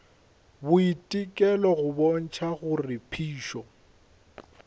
boitekelo go bontšha gore phišo